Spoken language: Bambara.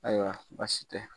Ayiwa baasi tɛ.